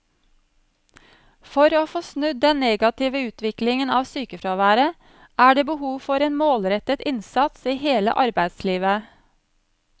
For å få snudd den negative utviklingen av sykefraværet er det behov for en målrettet innsats i hele arbeidslivet.